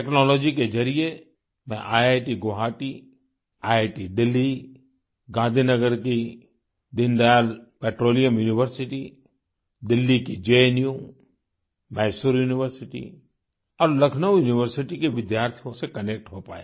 technology के ज़रिये मैं इतगुवाहाटी आईआईटीदेलही गाँधीनगर की दीनदयाल पेट्रोलियम यूनिवर्सिटी दिल्ली की जनू मायसोर यूनिवर्सिटी और लकनो यूनिवर्सिटी के विद्यार्थियों से कनेक्ट हो पाया